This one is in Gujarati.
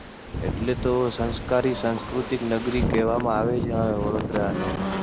એટલે તો સંસ્કારી સંસ્કૃતિક નગરી કહેવામાં આવે છે આ વડોદરા ને.